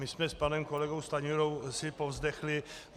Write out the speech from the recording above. My jsme s panem kolegou Stanjurou si povzdechli.